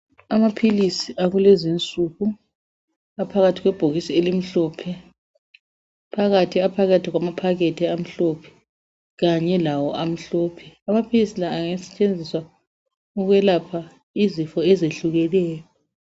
Amaphilisi akulezinsuku aphakathi kwebhokisi elimhlophe phakathi aphakathi kwamaphakethi amhlophe Kanye lawo amhlophe amaphilisi la angasetshenziswa ukwelapha izifo ezehlukeneyo